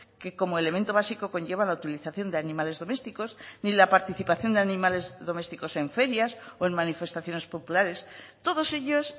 que como elemento básico conlleva la utilización de animales domésticos ni la participación de animales domésticos en ferias o en manifestaciones populares todos ellos